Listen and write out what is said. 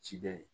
Cikɛ ye